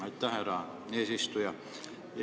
Aitäh, härra eesistuja!